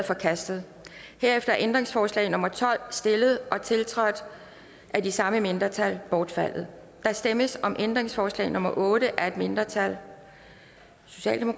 forkastet herefter er ændringsforslag nummer tolv stillet og tiltrådt af de samme mindretal bortfaldet der stemmes om ændringsforslag nummer otte af et mindretal